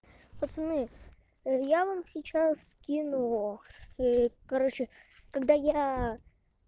пацаны я вам сейчас скину короче когда я